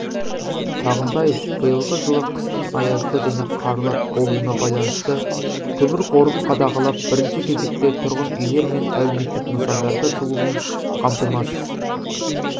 сағынтаев биылғы жылы қыстың аязды және қарлы болуына байланысты көмір қорын қадағалап бірінші кезекте тұрғын үйлер мен әлеуметтік нысандарды жылумен қамтамасыз